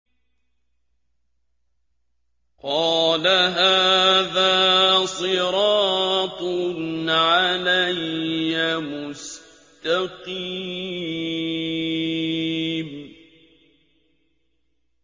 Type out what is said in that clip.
قَالَ هَٰذَا صِرَاطٌ عَلَيَّ مُسْتَقِيمٌ